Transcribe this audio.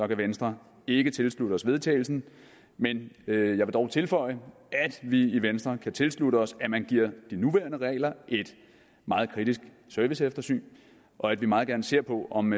kan venstre ikke tilslutte til vedtagelse men jeg vil dog tilføje at vi i venstre kan tilslutte os at man giver de nuværende regler et meget kritisk serviceeftersyn og at vi meget gerne ser på om